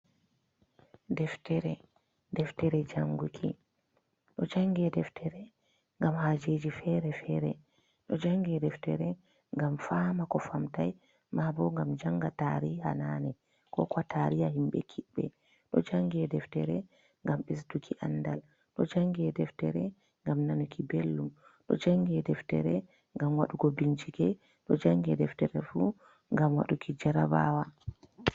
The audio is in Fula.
Deftere, deftere jannguki, ɗo jannge deftere ngam haajeji fere-fere, ɗo jannge deftere ngam faama ko famtay, maabo ngam jannga tariha naane, ko kuwa tariha himɓe kiɓɓe, ɗo jannge deftere ngam ɓesduki anndal, ɗo jannge deftere ngam nanuki belɗum, ɗo jannge deftere ngam waɗugo bincike, ɗo jannge deftere fu ngam waɗuki jarabawa.